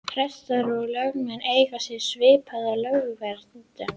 Prestar og lögmenn eiga sér svipaða lögverndun.